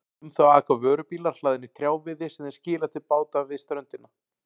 Um þá aka vörubílar hlaðnir trjáviði sem þeir skila til báta við ströndina.